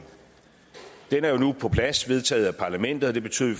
den er jo nu på plads vedtaget af parlamentet og det betyder at